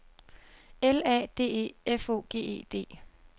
L A D E F O G E D